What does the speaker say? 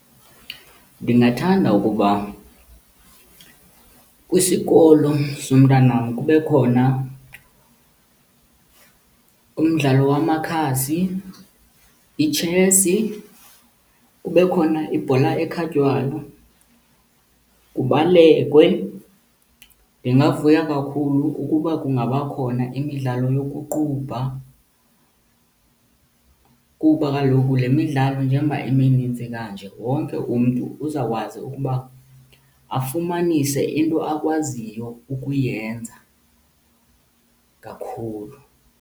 Ndingathanda ukuba kwisikolo somntanam kube khona umdlalo wamakhasi, itshesi, kube khona ibhola ekhatywayo, kubalekwe. Ndingavuya kakhulu ukuba kungaba khona imidlalo yokuqubha, kuba kaloku le midlalo njengoba iminintsi kanje wonke umntu uzawukwazi ukuba afumanise into akwaziyo ukuyenza kakhulu.